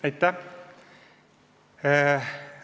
Aitäh!